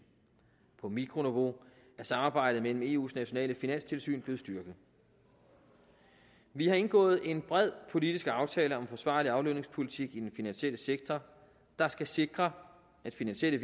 på mikroniveau er samarbejdet mellem eu’s nationale finanstilsyn blevet styrket vi har indgået en bred politisk aftale om forsvarlig aflønningspolitik i den finansielle sektor der skal sikre at finansielle